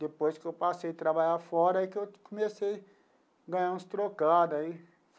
Depois que eu passei a trabalhar fora, aí que eu comecei ganhar uns trocado aí.